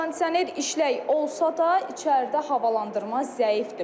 Kondisioner işlək olsa da, içəridə havalandırma zəifdir.